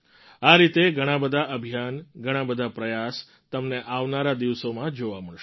આ રીતે ઘણાં બધાં અભિયાન ઘણા બધા પ્રયાસ તમને આવનારા દિવસોમાં જોવા મળશે